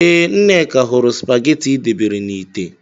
Ee, Nneka hụrụ spagetị ị debere na ite.